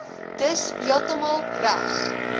dis heeltemal reg